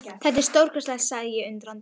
Þetta er stórkostlegt sagði ég undrandi.